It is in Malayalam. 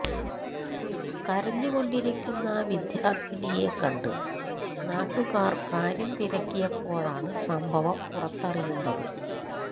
കരഞ്ഞുകൊണ്ടിരിക്കുന്ന വിദ്യാര്ത്ഥിനിയെ കണ്ട് നാട്ടുകാര് കാര്യം തിരക്കിയപ്പോഴാണ് സംഭവം പുറത്തറിയുന്നത്